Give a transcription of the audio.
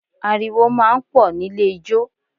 Ariwo máa ń pọ̀ nílé ijó